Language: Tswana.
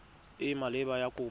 e e maleba ya kopo